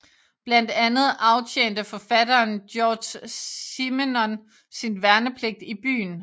Blandt andet aftjente forfatteren Georges Simenon sin værnepligt i byen